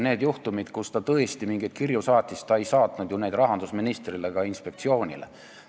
Nendel juhtumitel, kui ta tõesti mingeid kirju saatis, ei saatnud ta neid rahandusministrile ega inspektsioonile.